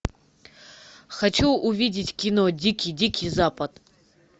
хочу увидеть кино дикий дикий запад